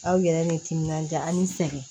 Aw yɛrɛ bɛ timinanja ani sɛgɛn